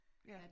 Ja